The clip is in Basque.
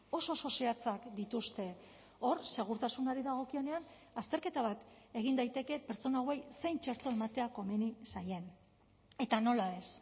oso oso zehatzak dituzte hor segurtasunari dagokionean azterketa bat egin daiteke pertsona hauei zein txerto ematea komeni zaien eta nola ez